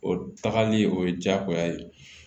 O tagali o ye diyagoya ye